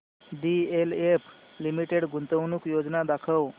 DLF limited गुंतवणूक योजना दाखव